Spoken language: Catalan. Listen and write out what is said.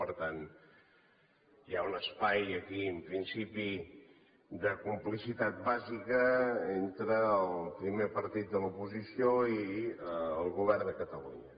per tant hi ha un espai aquí en principi de complicitat bàsica entre el primer partit de l’oposició i el govern de catalunya